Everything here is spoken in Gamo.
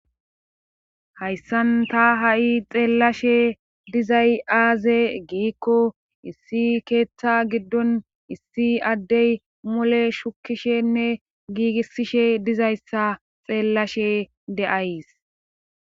Hayssan ta ha'i xeellashe dizay aaze giikko issi keeththa giddon issi addey mole shukishenne giigisishe dizayssa xeellashe de'ays